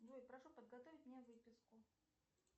джой прошу подготовить мне выписку